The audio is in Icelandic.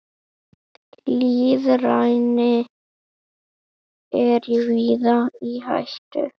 Lýðræði er víða í hættu.